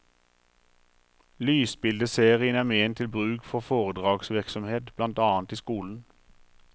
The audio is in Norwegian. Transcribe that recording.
Lysbildeserien er ment til bruk for foredragsvirksomhet, blant annet i skolen.